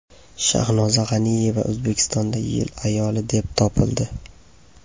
Shahnoza G‘aniyeva O‘zbekistonda yil ayoli deb topildi.